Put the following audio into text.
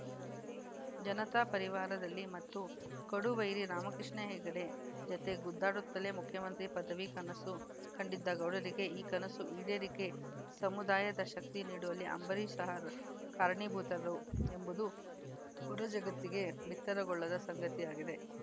ಜನತಾ ಪರಿವಾರದಲ್ಲಿ ಮತ್ತು ಕಡು ವೈರಿ ರಾಮಕೃಷ್ಣ ಹೆಗಡೆ ಜತೆ ಗುದ್ದಾಡುತ್ತಲೇ ಮುಖ್ಯಮಂತ್ರಿ ಪದವಿ ಕನಸು ಕಂಡಿದ್ದ ಗೌಡರಿಗೆ ಈ ಕನಸು ಈಡೇರಿಕೆ ಸಮುದಾಯದ ಶಕ್ತಿ ನೀಡುವಲ್ಲಿ ಅಂಬರೀಷ್‌ ಸಹ ಕಾರಣೀಭೂತರು ಎಂಬುದು ಹೊರಜಗತ್ತಿಗೆ ಬಿತ್ತರಗೊಳ್ಳದ ಸಂಗತಿಯಾಗಿದೆ